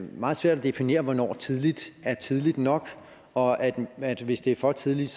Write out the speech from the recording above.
meget svært at definere hvornår tidligt er tidligt nok og at hvis det er for tidligt